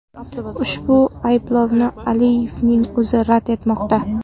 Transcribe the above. Ushbu ayblovni Aliyevning o‘zi rad etmoqda.